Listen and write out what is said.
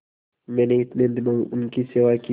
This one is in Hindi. मैंने इतने दिनों इनकी सेवा की